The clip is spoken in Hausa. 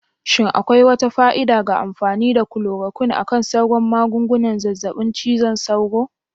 Shin akwai wata fa'ida ga amfani da chloroquine akan sauran magungunan zazzaɓin cizon sauro?